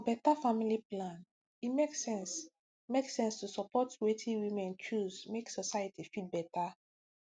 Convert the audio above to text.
for beta family plan e make sense make sense to support wetin women choose make society fit beta